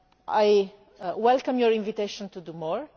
I welcome your invitation to do more.